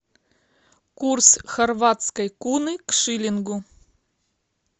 курс хорватской куны к шиллингу